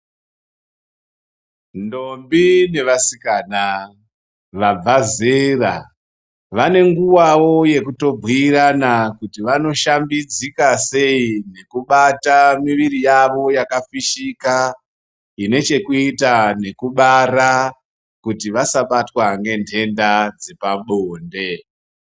Ndombi nevasikana vabva zera ,vane nguvawo yekutobhuirana kuti vanoshambidzika sei, nekubata mwiri yavo yakafishika ,ine chekuita nekubara ,kuti vasabatwa ngentenda dzepabonde.